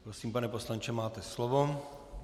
Prosím, pane poslanče, máte slovo.